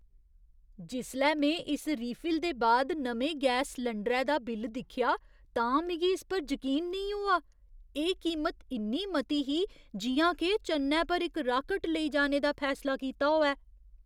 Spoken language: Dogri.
जिसलै में इस रीफिल दे बाद नमें गैस सलैंडरै दा बिल दिक्खेआ तां मिगी इस पर जकीन नेईं होआ। एह् कीमत इन्नी मती ही जि'यां के चन्नै पर इक राकेट लेई जाने दा फैसला कीता होऐ!